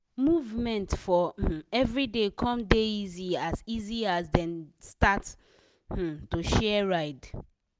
movement for um everyday com dey easy as easy as dem start um to share ride.